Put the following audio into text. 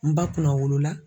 N ba kunna wolola.